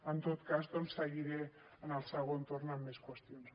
en tot cas doncs seguiré en el segon torn amb més qüestions